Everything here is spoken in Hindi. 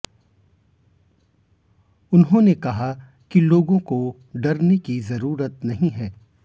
उन्होंने कहा कि लोगों को डरने की जरूरत नहीं है